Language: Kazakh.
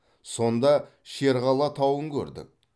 сонда шерқала тауын көрдік